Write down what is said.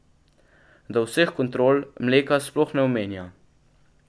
Da vseh kontrol mleka sploh ne omenja.